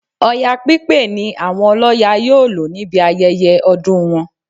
Ọya pípé ni àwọn ọlọ́ya yóò lò níbi ayẹyẹ ọdún wọn